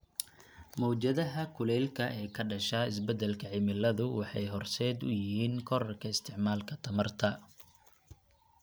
Mowjadaha kulaylka ee ka dhasha isbeddelka cimiladu waxay horseed u yihiin korodhka isticmaalka tamarta .